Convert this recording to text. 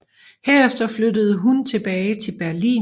Herefter flyttede hun tilbage til Berlin